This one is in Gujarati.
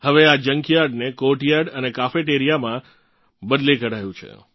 હવે આ જંકયાર્ડને કોર્ટયાર્ડ અને cafeteriaમાં બદલી કઢાયું છે